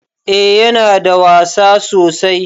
Eh Yana da wasa sosai.